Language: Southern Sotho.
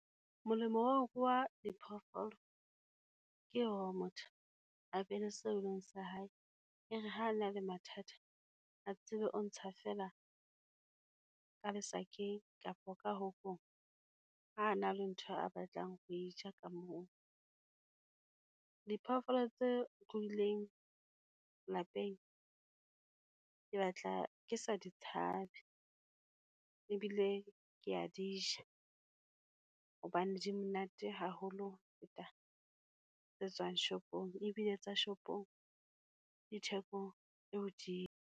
Molemo wa ho ruha diphoofolo, ke hore motho a be le seo e leng sa hae. E re ha a na le mathata, a tsebe o ntsha feela ka lesakeng kapa ka hokong, ha a na le ntho a batlang ho e ja ka moo. diphoofolo tse ruhilweng lapeng, ke batla ke sa di tshabe ebile ke ya di ja, hobane di monate haholo ho feta tse tswang shopong, ebile tsa shopong di theko e hodimo.